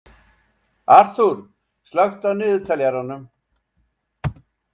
Arthúr, slökku á niðurteljaranum.